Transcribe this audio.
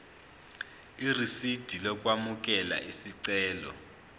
irisidi lokwamukela isicelo